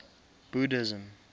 buddhism